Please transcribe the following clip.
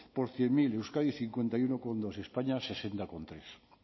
por cien mil euskadi cincuenta y uno coma dos españa sesenta coma tres